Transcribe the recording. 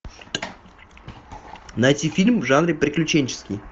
найти фильм в жанре приключенческий